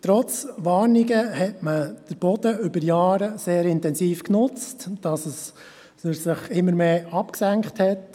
Trotz Warnungen hat man den Boden über Jahre sehr intensiv genutzt, sodass er sich immer mehr abgesenkt hat.